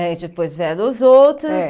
Eh e depois vieram os outros. É